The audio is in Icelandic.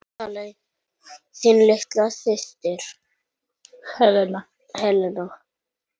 Þín litla systir, Helena.